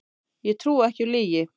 Ég trúi ekki á lygi